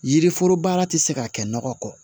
Yiriforo baara tɛ se ka kɛ nɔgɔ kɔ